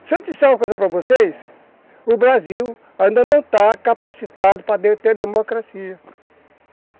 Se eu te disser uma coisa para vocês, o Brasil ainda não está capacitado para ter democracia.